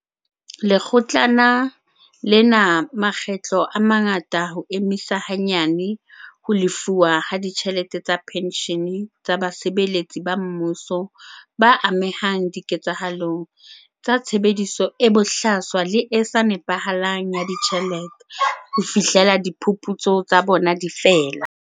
Lekgo tlana lena makgetlo a mangata ho emisa hanyane ho lefuwa ha ditjhelete tsa penshene tsa basebeletsi ba mmuso ba amehang diketsahalong tsa tshebediso e bohlaswa le e sa nepahalang ya ditjhelete ho fihlela diphuputso tsa bona di fela.